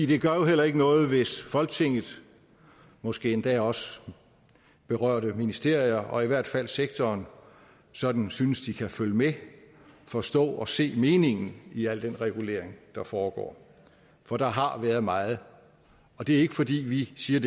det gør jo heller ikke noget hvis folketinget og måske endda også berørte ministerier og i hvert fald sektoren sådan synes at de kan følge med forstå og se meningen i al den regulering der foregår for der har været meget det er ikke fordi vi siger